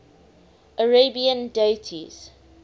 arabian deities